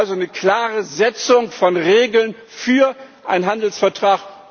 Also eine klare Setzung von Regeln für einen Handelsvertrag.